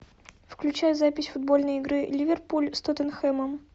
включай запись футбольной игры ливерпуль с тоттенхэмом